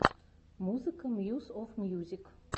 музыка мьюс оф мьюзик